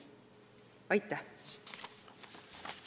Aitäh!